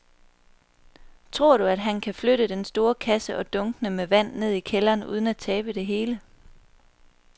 Tror du, at han kan flytte den store kasse og dunkene med vand ned i kælderen uden at tabe det hele?